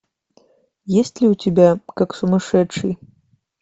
есть ли у тебя как сумасшедший